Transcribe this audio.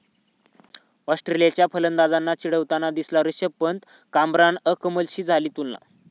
ऑस्ट्रेलियाच्या फलंदाजांना चिढवताना दिसला ऋषभ पंत, कामरान अकमलशी झाली तुलना